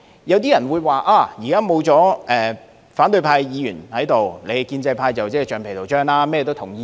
有些人認為，現在議會沒有反對派議員，建制派就是橡皮圖章，甚麼也會同意。